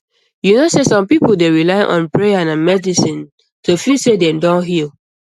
you know sey some people dey rely on prayer and medicine to feel say dem don heal